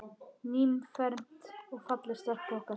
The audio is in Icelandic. Nýfermd og falleg stelpan okkar.